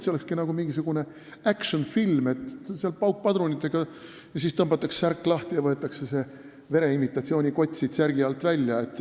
Olekski nagu mingisugune action-film, kus tulistatakse paukpadrunitega, siis tõmmatakse särk lahti ja võetakse vere imitatsiooni kott selle alt välja.